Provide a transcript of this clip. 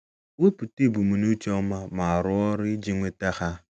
Wepụta ebumnuche ọma, ma rụọ ọrụ iji nweta ha.